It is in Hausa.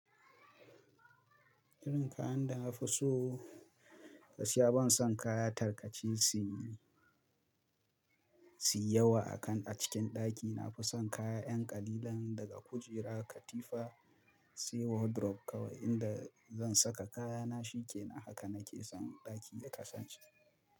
Irin kayan da na fi so, gaskiya ban son kaya tarkace si, si yawa a kan a cikin ɗaki. Na fi son kaya ƴan ƙalilan, daga kujera, katifa, sai wardrobe kawai inda zan saka kayana shi kenan. Haka na ke san, ɗaki ya kasance.